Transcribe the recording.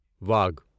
واگھ